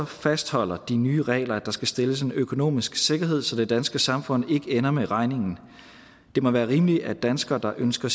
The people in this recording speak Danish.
fastholder de nye regler at der skal stilles en økonomisk sikkerhed så det danske samfund ikke ender med regningen det må være rimeligt at danskere der ønsker